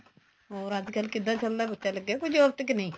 ਹੋਰ ਅੱਜਕਲ ਕਿੱਦਾਂ ਚੱਲਦਾ ਬੱਚਾ ਲਗਾ ਕੋਈ job ਤੇ ਕੇ ਨਹੀਂ